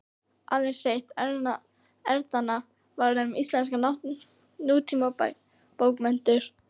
Aðeins eitt erindanna var um íslenskar nútímabókmenntir.